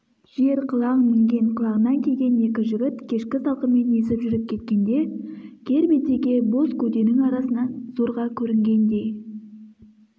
жер-қылаң мінген қылаңнан киген екі жігіт кешкі салқынмен есіп жүріп кеткенде кер бетеге боз көденің арасынан зорға көрінгендей